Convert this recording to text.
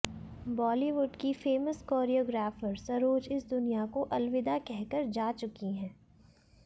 बॉलीवुड की famous choreographer Saroj इस दुनिया को अलविदा कहकर जा चुकी हैं